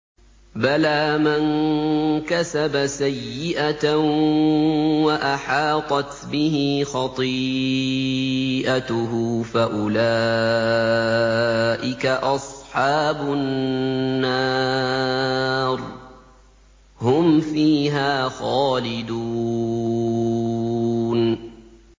بَلَىٰ مَن كَسَبَ سَيِّئَةً وَأَحَاطَتْ بِهِ خَطِيئَتُهُ فَأُولَٰئِكَ أَصْحَابُ النَّارِ ۖ هُمْ فِيهَا خَالِدُونَ